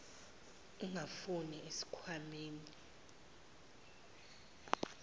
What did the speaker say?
engafuniwe esikh wameni